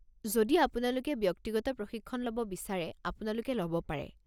যদি আপোনালোকে ব্যক্তিগত প্ৰশিক্ষণ ল'ব বিচাৰে, আপোনালোকে ল'ব পাৰে।